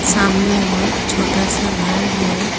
सामने और छोटा सा घर है।